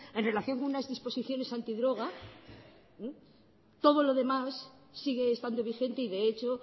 en relación con unas disposiciones antidroga todo lo demás sigue estando vigente y de hecho